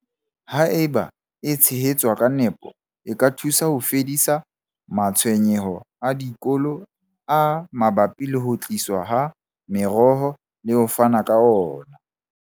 Haeba e tshehetswa ka nepo, e ka thusa ho fedisa matshwenyeho a dikolo a mabapi le ho tliswa ha meroho le ho fana ka.